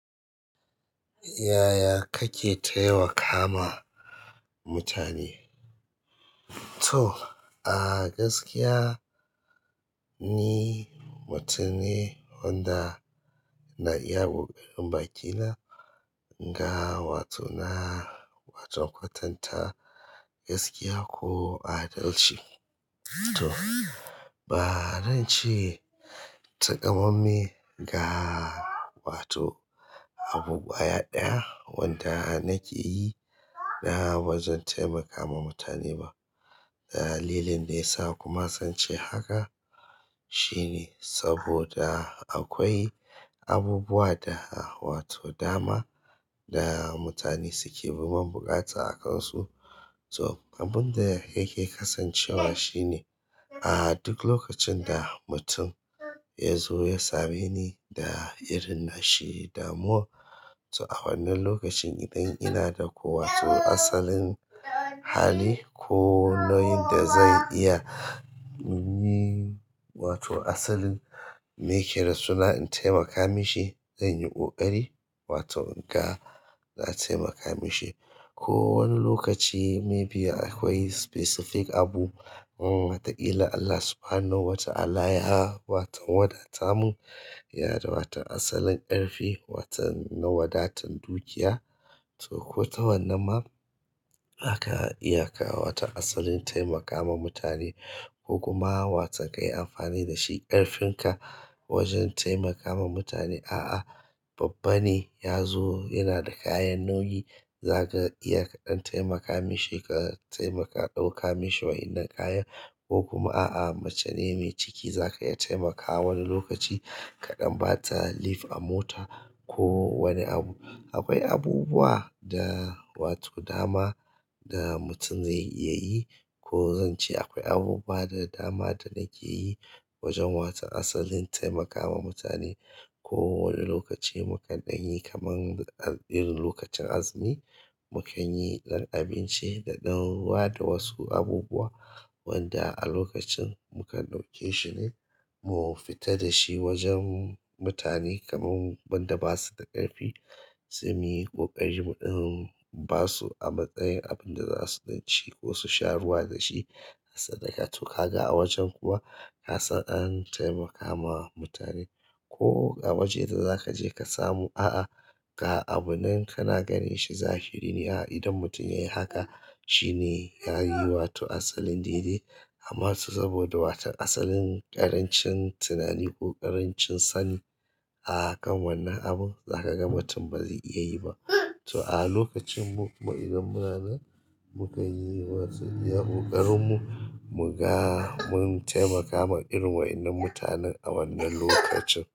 Yaya kake taimakawa mutane? To a gaskiya ni mutum ne wanda ina iya ƙoƙarin bakina ga wato na, wato kwatanta gaskiya ko adalci. To ba zance takamamme ga wato abu kwaya ɗaya wanda nakeyi na bazan taimaka ma mutane ba. Dalilin da yasa kuma zance haka shine saboda akwai abubuwa da wato dama da mutane suke ruwan butaka a kansu to abinda yake kasancewa shine a duk lokacin da mutum yazo ya sameni da irin nashi damuwan, to a wannan lokacin idan ina da ko wato asalin hali ko nauyin da zan iya yin wato asalin me keda suna in taimaka mishi, zanyi ƙoƙari wato in ga na taimaka mishi. Ko wani lokaci maybe akwai specific abu, um wataƙila Allah Subhanahu wa Ta'ala ya waton wadata mu, ya da waton asalin ƙarfi waton na wadatan dukiya. To kota wannan ma zaka iya ka watan asalin taimakawa mutane ko kuma watan kai amfani da shi ƙarfin ka wajen taimakawa mutane. A'a babba ne yazo yanada kayan nauyi, zaka ita ka dan taimaka mishi ka ɗauka mishi wannan kayan, ko kuma a'a macene mai ciki zaka iya taimakawa wani lokaci kaɗan bata lift a mota ko wani abu, akwai abubawa da dama da mutum ze iya yi ko zance akwai abubuwa da dama da nakeyi wajen watan asalin taimakawa mutane ko wani lokaci mu kan danyi kamar irin lokacin azumi, mu kanyi abinci da ɗan ruwa da wasu abubuwa wanda a lokacin mu kan ɗauke shine mu fita dashi wajen mutane kamar wanda basuda ƙarfi, sain muyi ƙoƙari muɗin basu a matsayin abin da za su ci ko su sha ruwa da shi, sadaka. To kaga a wajen kuwa na san an taimaka ma mutane ko a waje da za kaje ka samu a'a ga abun nan kana ganin shi zahiri ne a'a idan mutum yayi haka shine yayi wato asalin daidai. Amma saboda wato a salin ƙaranci tunani ko ƙarancin sani akan wannan abu zakaga mutun bazai iya yi nna to a'a lokacin mu, mu idan muna nan mu kan yi wasu iya ƙoƙarin mu, mu ga mun taimaka ma irin waɗannan mutanen a wannan lokacin.